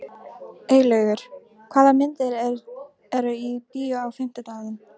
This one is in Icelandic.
Eylaugur, hvaða myndir eru í bíó á fimmtudaginn?